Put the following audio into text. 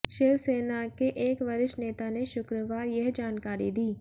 शिव सेना के एक वरिष्ठ नेता ने शुक्रवार यह जानकारी दी